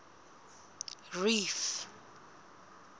reef